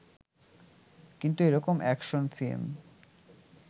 কিন্তু এরকম action film